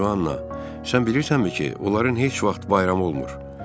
Ay Joana, sən bilirsənmi ki, onların heç vaxt bayramı olmur?